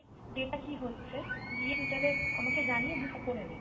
day তা কি হচ্ছে আমাকে জানিয়ে booking তা করে নে